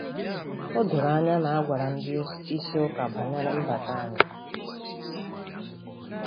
O doro anya na a gwara ndị isi Ụka banyere mbata anyị.